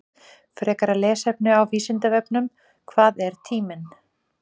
Frekara lesefni á Vísindavefnum: Hvað er tíminn?